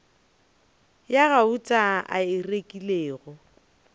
ya gauta a e rekilego